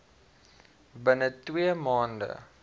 binne twee maande